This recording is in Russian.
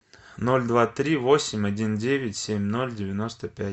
ноль два три восемь один девять семь ноль девяносто пять